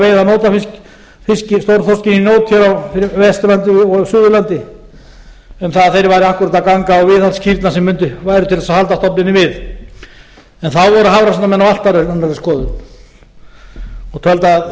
veiða nótafisk í nót á vesturlandi og suðurlandi um að þeir væru akkúrat að ganga á viðhaldskýrnar sem væru til að halda stofninum við en þá voru hafrannsóknamenn á allt annarri skoðun og töldu að þessi